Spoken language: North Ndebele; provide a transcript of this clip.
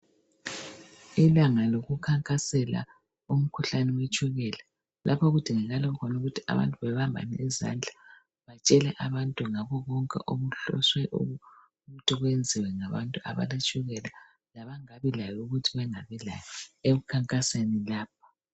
Ilanga lokukhankasela imikhuhlane yetshukela lapha okudingakala khona ukuthi abantu bebambane izandla batshele abantu ngabobonke obuhloswe ukuthi kwenziwe ngabantu abaletshukela labangakabi layo ukuthi bengabilayo ekukhankaseni lapho